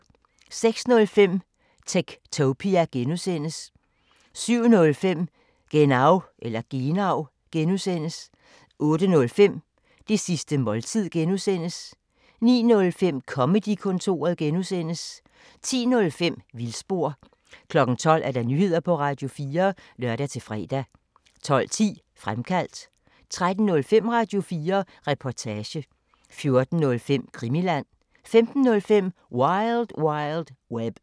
06:05: Techtopia (G) 07:05: Genau (G) 08:05: Det sidste måltid (G) 09:05: Comedy-kontoret (G) 10:05: Vildspor 12:00: Nyheder på Radio4 (lør-fre) 12:10: Fremkaldt 13:05: Radio4 Reportage 14:05: Krimiland 15:05: Wild Wild Web